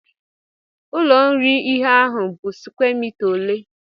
Ụlo iri ihe ahụ bụ square mita ole?